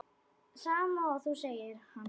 Sama og þú, segir hann.